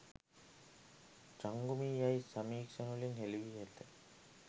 චංගුමී යැයි සමීක්ෂණවලින් හෙළි වී ඇත.